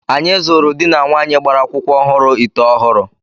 Anyị zụụrụ dị na nwaanyi gbara akwụkwọ ọhụrụ ite ọhụrụ.